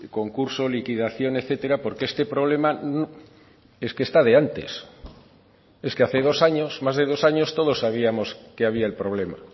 concurso liquidación etcétera porque este problema es que está de antes es que hace dos años más de dos años todos sabíamos que había el problema